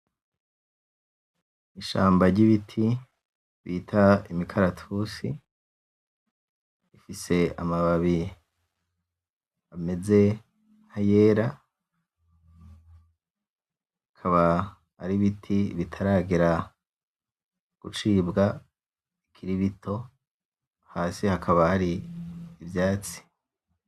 Ishamba ry'ibiti bita imikaratusi rifise amababi ameze nk'ayera, bikaba ari ibiti bitaragera gucibwa bikiri bito hasi hakaba hari ivyatsi.